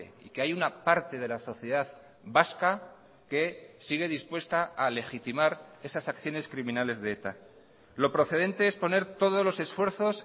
y que hay una parte de la sociedad vasca que sigue dispuesta a legitimar esas acciones criminales de eta lo procedente es poner todos los esfuerzos